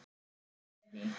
Leví